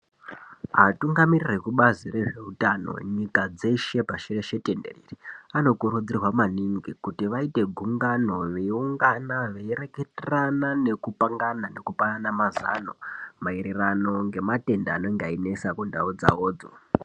Atungamiriri ekubazi rezveutano nyika dzeshe pashi reshe tenderere anokurudzirwa maningi kuti vaite gungano veiungana veireketerana nekupangana nekupanana Mazano maererano nematenda anenga einesa kundau dzawodzo.